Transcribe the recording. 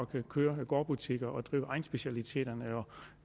kan køre gårdbutikker og drive egnsspecialiteterne og